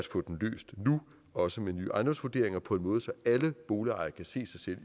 få den løst nu også med nye ejendomsvurderinger på en måde så alle boligejere kan se sig selv